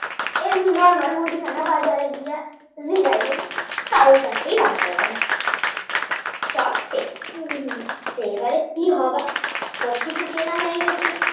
এমনি Normal মুদিখানা বাজারে গিয়ে জিগায়লাম কারো কাছেই Burger Bun নেই Stock শেষ এবারে কি হবে সবকিছু কেনা হয়ে গিয়েছে